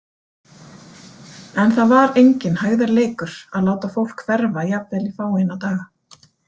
En það var enginn hægðarleikur að láta fólk hverfa jafnvel í fáeina daga.